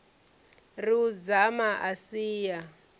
ri u dzama a sia